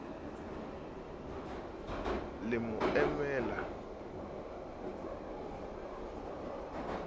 le mo imela le ho